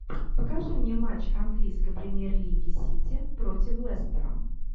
покажи мне матч английской премьер лиги сити против лестера